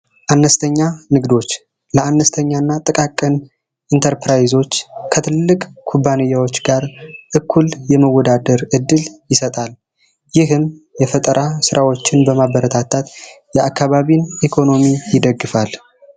አነስተኛ ንግዶች ለአነስተኛ እና ጥቃቅን ኢንተርፕራይዞች ከትላልቅ ኩባንያዎች ጋር እኩል የመወዳደር እድል ይሰጣል። ይህም የፈጠራ ስራዎችን በማበረታታት የአካባቢ ኢኮኖሚን ይደግፋል።